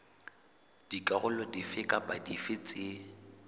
dikarolo dife kapa dife tse